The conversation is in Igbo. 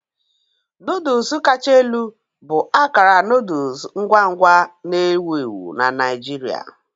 Noodles kacha elu bụ akara noodle ngwa ngwa na-ewu ewu na Naijiria.